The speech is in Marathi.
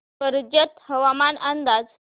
कर्जत हवामान अंदाज